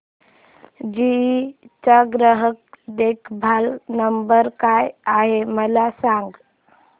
GE चा ग्राहक देखभाल नंबर काय आहे मला सांग